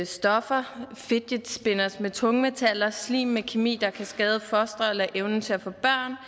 stoffer fidget spinners med tungmetaller slim med kemi der kan skade fostre eller evnen til at få